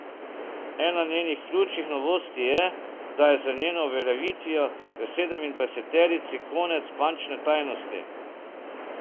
Ena njenih ključnih novosti je, da je z njeno uveljavitvijo v sedemindvajseterici konec bančne tajnosti.